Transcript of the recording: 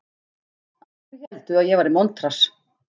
Allir héldu að ég væri montrass.